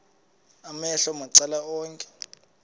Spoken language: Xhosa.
amehlo macala onke